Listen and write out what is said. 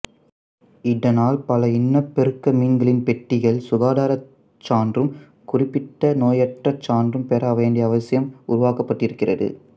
இதனால் பல இனப்பெருக்க மீன்களின் பெட்டிகள் சுகாதாரச் சான்றும் குறிப்பிட்ட நோயற்ற சான்றும் பெற வேண்டிய அவசியம் உருவாக்கப்பட்டிருக்கிறது